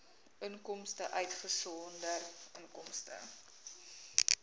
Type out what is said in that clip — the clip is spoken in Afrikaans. inkomste uitgesonderd inkomste